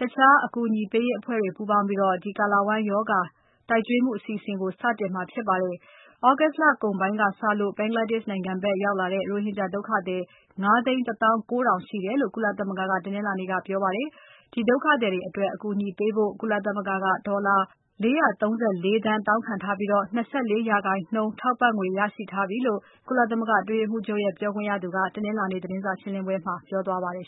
တခြားအကူအညီပေးရေးအဖွဲ့တွေ ပူးပေါင်းပြီး ကာလဝမ်းရောဂါတိုက်ကျွေးမှု အစီအစဉ်ကို စတင်တာဖြစ်ပါတယ်။ သြဂုတ်လကုန်ပိုင်းကစလို့ Bangladesh နိုင်ငံဖက်ရောက်လာတဲ့ ရိုဟင်ဂျာ ဒုက္ခသည် ၅ သိန်း ၁ သောင်း ၉ ထောင်ရှိတယ်လို့ ကုလသမဂ္ဂက တနင်္လာနေ့ပြောပါတယ်။ ဒီဒုက္ခသည်တွေအတွက် အကူအညီပေးဖို့ ကုလသမဂ္ဂက ဒေါ်လာ ၄၃၄ သန်းတောင်းခံထားပြီး ၂၄% ထောက်ပံ့ငွေရရှိထားပြီလို့ ကုလသမဂ္ဂ အတွင်းရေးမှူးချုပ်ရဲ့ ပြောခွင့်ရသူက တနင်္လာနေ့က သတင်းစာရှင်းပွဲမှာ ပြောကြားသွားပါတယ်